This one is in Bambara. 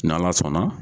N'ala sɔnna